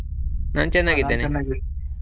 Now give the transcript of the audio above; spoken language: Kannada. ನಾನ್ ಚೆನ್ನಾಗಿದ್ದೇನೆ .